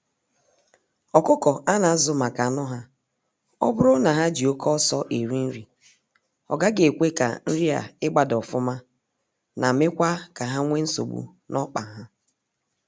Ọkụkọ a na azụ maka anụ ha, oburu na ha jị oke ọsọ eri nri, ọgaghị ekwe ka nrị a ịgba daa ofụma na mekwa ka ha nwe nsogbu n'ọkpa ha.